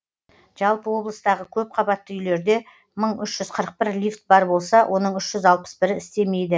жалпы облыстағы көпқабатты үйлерде мың үш жүз қырық бір лифт бар болса оның үш жүз алпыс бірі істемейді